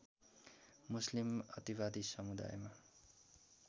मुस्लिम अतिवादी समुदायमा